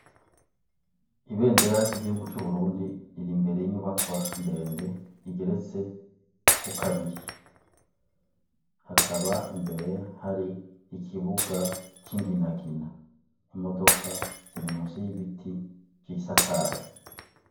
Ibendera ry'igihugu cu Burundi riri imbere y'inyubakwa ndende igeretse ko kabiri hakaba imbere hari ikibuga c'inginagina imodoka ziri munsi y'ibiti vyisakaye.